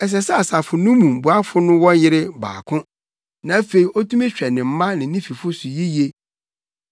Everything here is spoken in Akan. Ɛsɛ sɛ asafo no mu boafo no wɔ yere baako na afei otumi hwɛ ne mma ne ne fifo yiye.